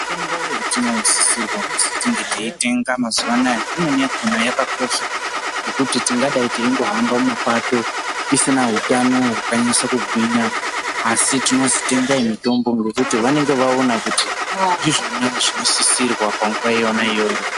Mitombo yatinosisirwa kuzi tinge teitenga mazuwa anaa imweni yakhona yakakosha ngekuti taidai teingohamba mumapato tisina utano hwakanyaso kugwinya asi tinozwi tengai mitombo nekuti vanenge vaona kuti ndizvona zvinosisirwa panguwa yona iyoyo.